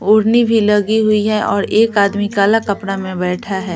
ओढ़नी भी लगी हुई है और एक आदमी काला कपड़ा में बैठा है।